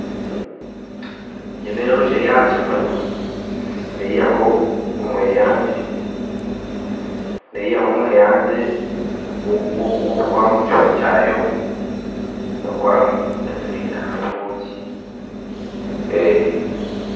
Egi n'enjoki eri aha kimuri neyihaho omweyangye neyihaho omweyangye gw'okutwara omu kihumi kyayo kukoramu ensinda na nobwoki